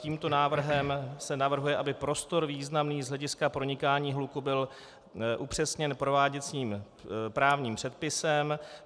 Tímto návrhem se navrhuje, aby prostor významný z hlediska pronikání hluku byl upřesněn prováděcím právním předpisem.